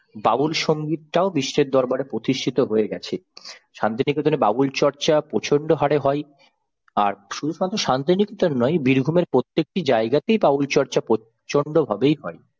বাউল সংগীত টাও বিশ্বের দরবারে প্রতিষ্ঠিত হয়ে গেছে। শান্তিনিকেতনে বাউল চর্চা প্রচন্ড হারে হয় আর শুধুমাত্র শান্তিনিকেতনে নয় বীরভূমের প্রত্যেকটি জায়গাতেই বাউল চর্চা প্রচন্ডভাবেই হয়।